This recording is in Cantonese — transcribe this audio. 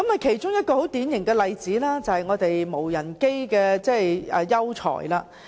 其中一個很典型的例子，便是無人機的優才。